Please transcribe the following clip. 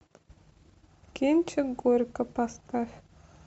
кинчик горько поставь